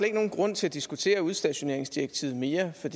ikke nogen grund til at diskutere udstationeringsdirektivet mere for